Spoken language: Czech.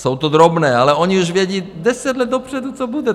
Jsou to drobné, ale oni už vědí deset let dopředu, co bude.